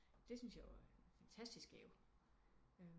Det syntes jeg var en fantastisk gave